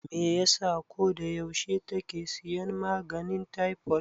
Me yasa ko da yaushe take siyan maganin taifod?